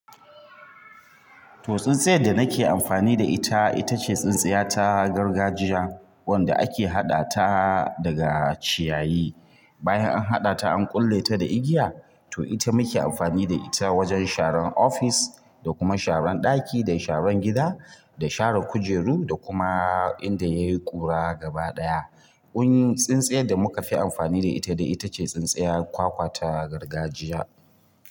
To tsintsiyar da nake amfani da ita, ita ce tsintsiya ta gargajiya wanda ake haɗa ta daga ciyayi. Bayan an haɗa ta, an kulle ta da igiya. To ita muke amfani da ita wajen sharan ofis, da kuma sharan ɗaki, da sharan gida, da sharan kujeru, da kuma inda yayi ƙura gabaɗaya. Wani tsintsiya da muka fi amfani da ita dai ita ce tsintsiya kwakwa ta gargajiya.